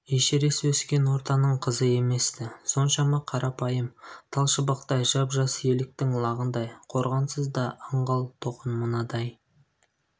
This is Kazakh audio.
эшерест өскен ортаның қызы емес-ті соншама қарапайым тал шыбықтай жап-жас еліктің лағындай қорғансыз да аңғал-тұғын мынадай